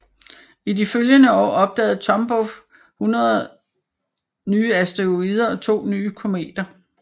I de følgende år opdagede Tombaugh hundrede nye asteroider og to nye kometer